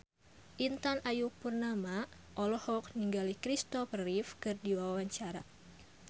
Intan Ayu Purnama olohok ningali Christopher Reeve keur diwawancara